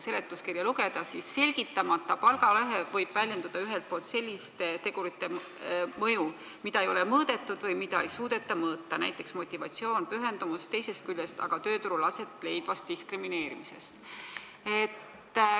Seletuskirjast loen, et selgitamata palgalõhe võib väljendada ühelt poolt selliste tegurite mõju, mida ei ole mõõdetud või mida ei suudeta mõõta, näiteks motivatsioon ja pühendumus, teisest küljest võib see väljendada aga tööturul aset leidvat diskrimineerimist.